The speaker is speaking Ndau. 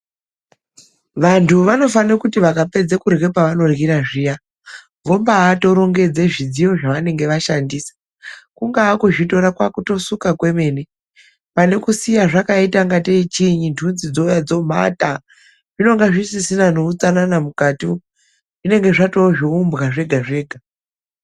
Vantu vanofanira kuti vakapedza kurya, pavanoryira zviya vombatorongedze zvidziyo zvavanenge vashandisa. Kungaa kuzvitora, kwakutosuka kwemene panekusiya zvakaitangatei chiyini, nhunzi dzouya dzomhata zvinenge zvisisina neutsanana mukati, zvinenge zvatoo zvehumbwa zvega-zvega.